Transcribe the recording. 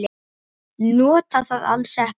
Nota það alls ekki.